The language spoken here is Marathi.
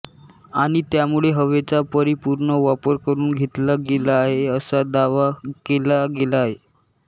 आणि त्यामुळे हवेचा परिपुर्ण वापर करून घेतला गेला आहे असा दावा केला गेला आहे